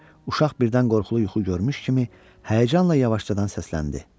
Uşaq birdən qorxulu yuxu görmüş kimi həyəcanla yavaşdan səsləndi.